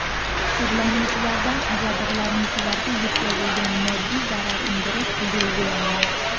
Sudlanuvchilardan jabrlanuvchilarga yetkazilgan moddiy zarar undirish belgilangan.